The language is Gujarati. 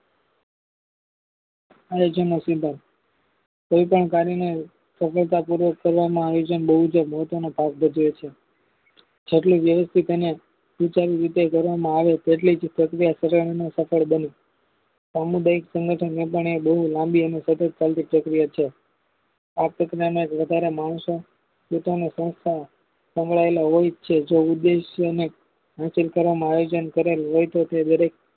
સામુદાયિક સંગઠન એપણ એ બહુ લાંબી અને સતત ચાલતી પ્રક્રિયા છે. આપરીકરીયાને વધારે માણસો પોતાની સંસ્થ સંગ્રહાયેલા હોય છે. જોઉદેશ અને હશીલ કરવામાં આયોજન કરેલ હોય તો તે દરેક